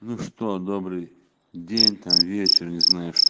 ну что добрый день там вечер не знаю ш